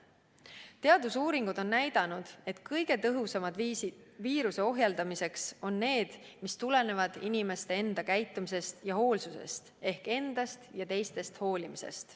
Teadusuuringud on näidanud, et kõige tõhusamad viisid viiruse ohjeldamiseks on need, mis tulenevad inimeste enda käitumisest ja hoolsusest ehk endast ja teistest hoolimisest.